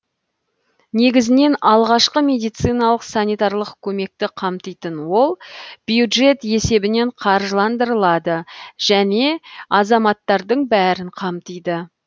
негізінен алғашқы медициналық санитарлық көмекті қамтитын ол бюджет есебінен қаржыландырылады және азаматтардың бәрін қамтиды